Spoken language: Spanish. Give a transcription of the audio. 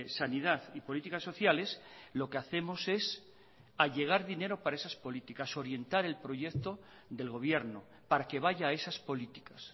sanidad y políticas sociales lo que hacemos es allegar dinero para esas políticas orientar el proyecto del gobierno para que vaya a esas políticas